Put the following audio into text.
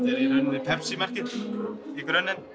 í rauninni Pepsi merkið í grunninn en